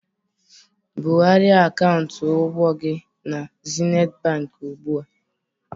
Bugharịa akaụntụ ụgwọ gị na Zenit Bank ugbu a!